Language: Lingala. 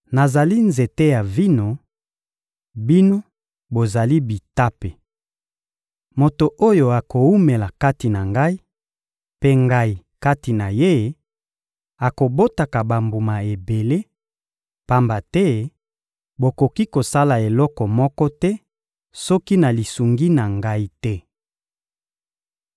Nazali nzete ya vino; bino, bozali bitape. Moto oyo akowumela kati na Ngai, mpe Ngai kati na ye, akobotaka bambuma ebele, pamba te bokoki kosala eloko moko te, soki na lisungi na Ngai te.